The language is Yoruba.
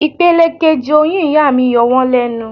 Ipele kejì oyún ìyá mi yọ wón lẹ́nu.